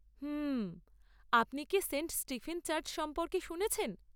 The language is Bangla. হুম। আপনি কি সেন্ট স্টিফেন চার্চ সম্পর্কে শুনেছেন?